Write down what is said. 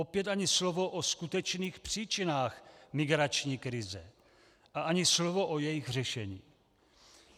Opět ani slovo o skutečných příčinách migrační krize a ani slovo o jejich řešení.